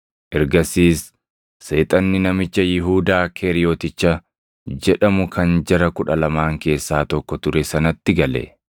Ergasiis seexanni namicha Yihuudaa Keeriyoticha jedhamu kan jara Kudha Lamaan keessaa tokko ture sanatti gale.